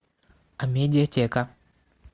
амедиатека